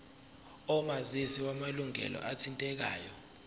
omazisi wamalunga athintekayo